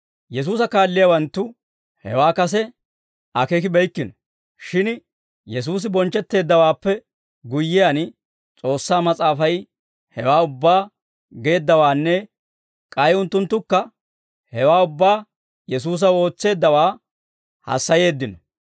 Yesuusa kaalliyaawanttu hewaa kase akeekibeykkino; shin Yesuusi bonchchetteeddawaappe guyyiyaan, S'oossaa Mas'aafay hewaa ubbaa geeddawaanne k'ay unttunttukka hewaa ubbaa Yesuusaw ootseeddawaa hassayeeddino.